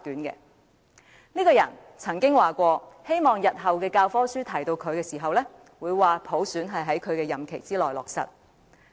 他曾經表示，希望日後的教科書談到他時，會提及普選是在他的任期內落實。